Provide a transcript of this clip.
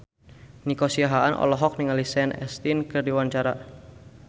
Nico Siahaan olohok ningali Sean Astin keur diwawancara